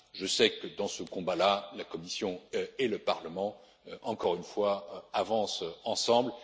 fiscales. Je sais que, dans ce combat, la Commission et le Parlement avancent, encore une